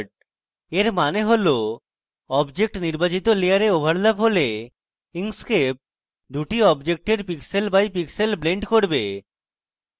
এর means হল objects নির্বাচিত লেযারে overlap হলে inkscape দুটি অবজেক্টের pixel by pixel blend করবে